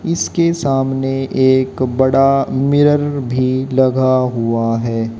इसके सामने एक बड़ा मिरर भी लगा हुआ है।